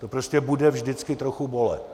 To prostě bude vždycky trochu bolet.